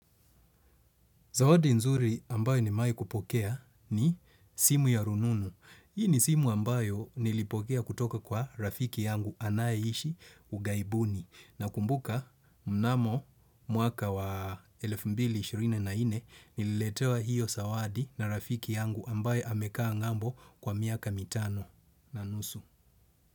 Zawadi nzuri ambayo nimewahi kupokea ni simu ya rununu. Hii ni simu ambayo nilipokea kutoka kwa rafiki yangu anayeishi ughaibuni. Nakumbuka mnamo mwaka wa elfu mbili ishirini na nne nililetewa hiyo zawadi na rafiki yangu ambaye amekaa ng'ambo kwa miaka mitano na nusu.